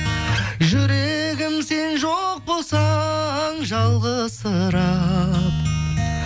жүрегім сен жоқ болсаң жалғызсырап